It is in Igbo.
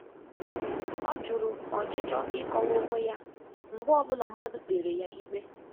Ọ jụrụ ọchịchọ ịkọwa onwe ya mgbe ọ bụla mmadụ kpere ya ikpe.